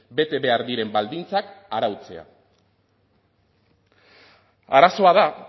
bete behar diren baldintzak arautzea arazoa da